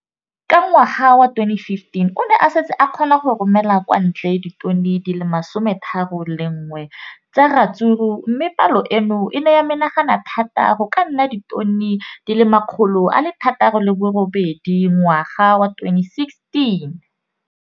Ka ngwaga wa 2015, o ne a setse a kgona go romela kwa ntle ditone di le 31 tsa ratsuru mme palo eno e ne ya menagana thata go ka nna ditone di le 168 ka ngwaga wa 2016.